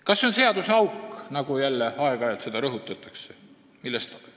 Kas see on seaduseauk, nagu jälle aeg-ajalt rõhutatakse?